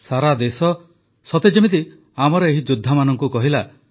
ସାରା ଦେଶ ସତେ ଯେମିତି ଆମର ଏହି ଯୋଦ୍ଧାମାନଙ୍କୁ କହିଲା